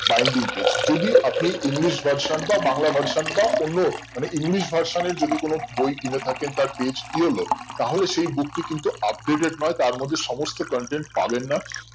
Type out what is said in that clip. binding page যদি আপনি english version বা বাংলা version তা অন্য মানে english version এর যদি কোনো বই কিনে থাকেন তার page কি হলো তাহলে সেই book টি কিন্তু updated নয় তারমধ্যে সমস্ত contained পাবেন না